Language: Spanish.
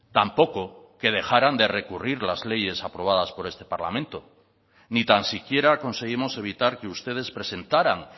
tampoco que dejaran de recurrir las leyes aprobadas por este parlamento ni tan siquiera conseguimos evitar que ustedes presentaran